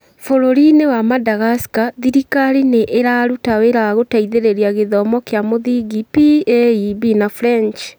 Bũrũri-inĩ wa Madagascar, thirikari nĩ ĩraruta wĩra wa gũteithĩrĩria gĩthomo kĩa mũthingi (PAEB na French).